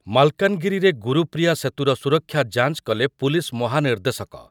ମାଲକାନଗିରିରେ ଗୁରୁପ୍ରିୟା ସେତୁର ସୁରକ୍ଷା ଯାଞ୍ଚ କଲେ ପୁଲିସ୍ ମହାନିର୍ଦ୍ଦେଶକ ।